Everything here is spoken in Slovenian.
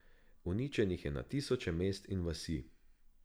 Uničenih je na tisoče mest in vasi.